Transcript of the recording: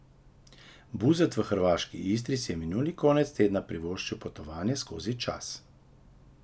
Buzet v hrvaški Istri si je minuli konec tedna privoščil potovanje skozi čas.